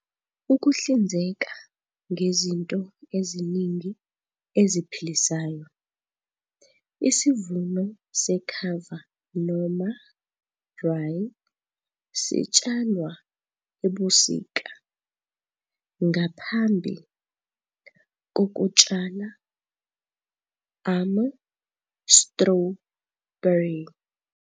Ukuhlinzeka ngezinto eziningi eziphilayo, isivuno sekhava noma rye sitshalwa ebusika ngaphambi kokutshala ama-strawberry.